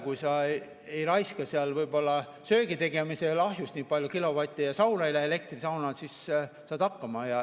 Kui sa ei raiska kilovatte söögi tegemisele ahjus ja elektrisauna ei lähe, siis saad hakkama.